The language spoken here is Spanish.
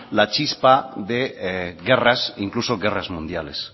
la chispa de guerras incluso guerras mundiales